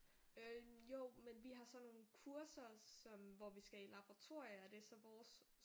Øh jo men vi har sådan nogle kurser som hvor vi skal i laboratorium og det så vores